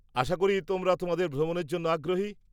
-আশা করি তোমরা তোমাদের ভ্রমণের জন্য আগ্রহী।